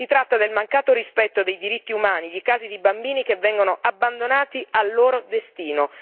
Si tratta del mancato rispetto dei diritti umani, di casi di bambini che vengono abbandonati al loro destino.